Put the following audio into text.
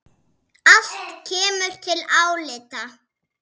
Allt kemur til álita.